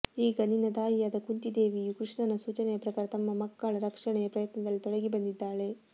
ಈಗ ನಿನ್ನ ತಾಯಿಯಾದ ಕುಂತೀದೇವಿಯು ಕೃಷ್ಣನ ಸೂಚನೆಯ ಪ್ರಕಾರ ತನ್ನ ಮಕ್ಕಳ ರಕ್ಷಣೆಯ ಪ್ರಯತ್ನದಲ್ಲಿ ತೊಡಗಿ ಬಂದಿದ್ದಾಳೆ